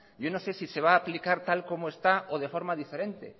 yo no sé si se va a aplicar tal como está o de forma diferente